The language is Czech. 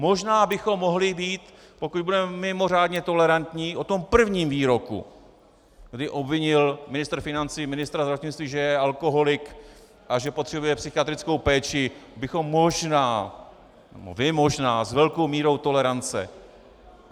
Možná bychom mohli být, pokud budeme mimořádně tolerantní, o tom prvním výroku, kdy obvinil ministr financí ministra zdravotnictví, že je alkoholik a že potřebuje psychiatrickou péči, bychom možná, vy možná, s velkou mírou tolerance.